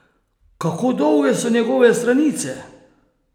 Kako dolge so njegove stranice?